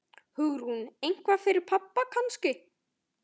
Hugrún: Eitthvað fyrir pabba kannski?